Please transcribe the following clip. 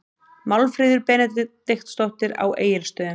Málfríður Benediktsdóttir á Egilsstöðum